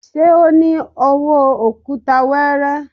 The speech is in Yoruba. Ṣé o ní owó òkúta weere?